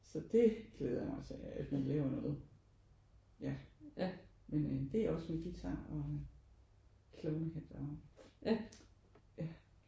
Så det glæder jeg mig til at vi laver noget ja men det er også med guitar klovnehat og ja